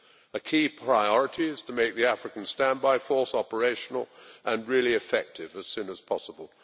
A key priority is to make the African Standby Force operational and really effective as soon as possible.